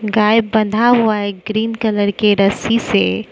गाय बंधा हुआ है ग्रीन कलर के रस्सी से।